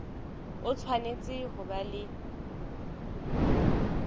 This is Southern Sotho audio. o tshwanetse ho ba le